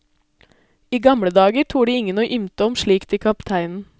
I gamle dager torde ingen å ymte om slikt til kapteinen.